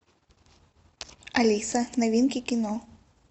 алиса новинки кино